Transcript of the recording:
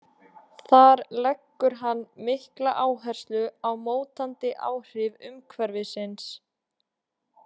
Þar leggur hann mikla áherslu á mótandi áhrif umhverfisins.